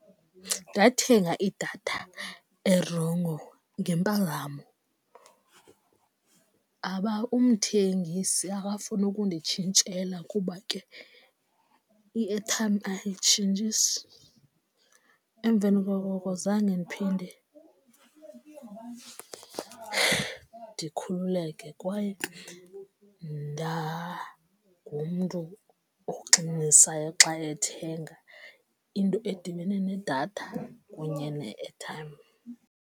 Ndathenga idatha erongo ngempazamo aba umthengisi akafuna ukunditshintshela kuba ke i-airtime ayitshintshisi emveni koko zange ndiphinde ndikhululeke kwaye ndangumntu oxinanisayo xa ethenga into edibene nedatha kunye ne-airtime.